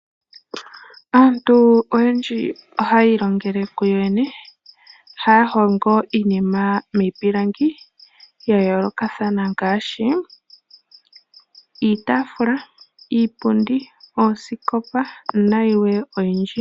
Aantu oyendji ohaya ilongele kuyo yene. Oha ya hongo iinima miipilangi ya yoolokathana ngaashi iitaafula, iipundi, oosikopa nayilwe oyindji.